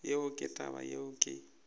yeo ke taba yeo ke